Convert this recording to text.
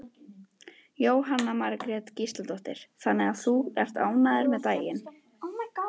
Jóhanna Margrét Gísladóttir: Þannig að þú ert ánægður með daginn?